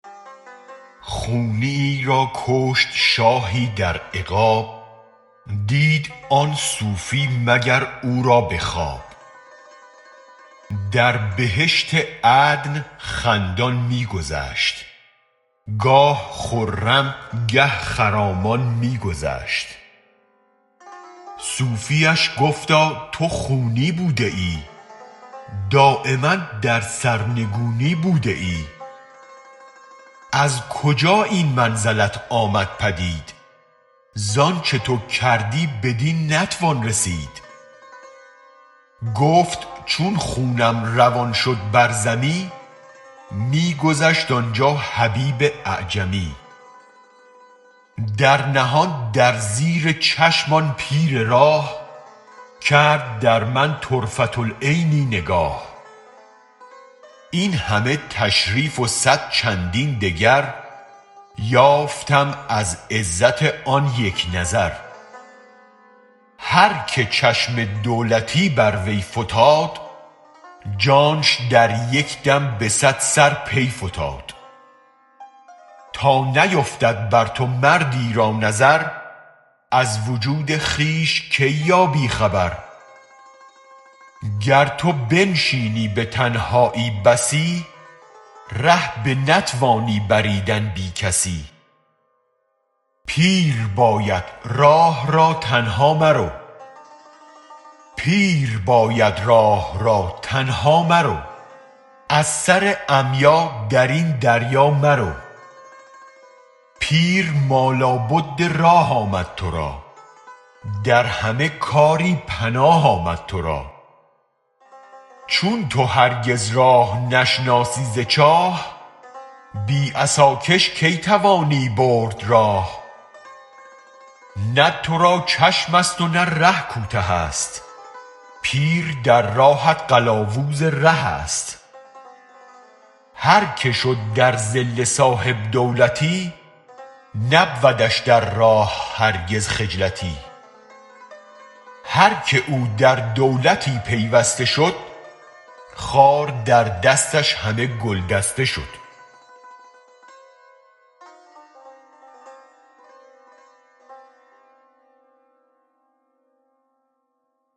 خونیی را کشت شاهی در عقاب دید آن صوفی مگر او را به خواب در بهشت عدن خندان می گذشت گاه خرم گه خرامان می گذشت صوفیش گفتا تو خونی بوده ای دایما در سرنگونی بوده ای از کجا این منزلت آمد پدید زانچ تو کردی بدین نتوان رسید گفت چون خونم روان شد بر زمی می گذشت آنجا حبیب اعجمی در نهان در زیرچشم آن پیر راه کرد درمن طرفة العینی نگاه این همه تشریف و صد چندین دگر یافتم از عزت آن یک نظر هرک چشم دولتی بر وی فتاد جانش در یک دم به صد سر پی فتاد تانیفتد بر تو مردی را نظر از وجود خویش کی یابی خبر گر تو بنشینی به تنهایی بسی ره بنتوانی بریدن بی کسی پیر باید راه را تنها مرو از سر عمیا درین دریا مرو پیر ما لابد راه آمد ترا در همه کاری پناه آمد ترا چون تو هرگز راه نشناسی ز چاه بی عصا کش کی توانی برد راه نه ترا چشمست و نه ره کوته است پیر در راهت قلاوز ره است هرک شد درظل صاحب دولتی نبودش در راه هرگز خجلتی هرک او در دولتی پیوسته شد خار در دستش همه گل دسته شد